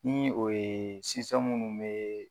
Ni o yee munnu bee